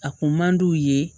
A kun man d'u ye